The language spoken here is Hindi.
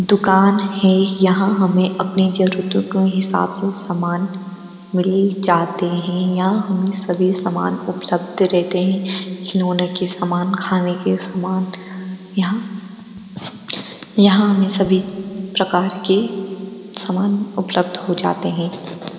दुकान है यहां हमें अपनी जरूरतों का हिसाब से सामान मिल जाते हैं यहां हमें सभी सामान उपलब्ध रहते हैं खिलौने के सामान खाने के सामान यहां यहां हमें सभी प्रकार के सामान उपलब्ध हो जाते हैं।